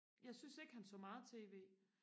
jeg synes ikke han så meget tv